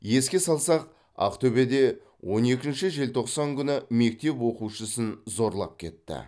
еске салсақ ақтөбеде он екінші желтоқсан күні мектеп оқушысын зорлап кетті